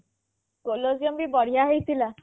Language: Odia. ବି ବଢିଆ ହେଇଥିଲା